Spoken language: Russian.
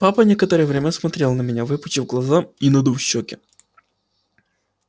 папа некоторое время смотрел на меня выпучив глаза и надув щёки